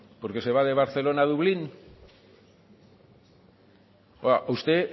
porque se va de barcelona a dublín a usted